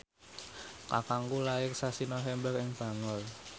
kakangku lair sasi November ing Bangor